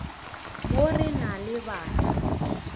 mo re na le bana